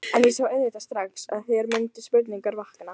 En ég sá auðvitað strax, að hér mundu spurningar vakna.